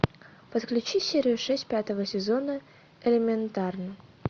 подключи серию шесть пятого сезона элементарно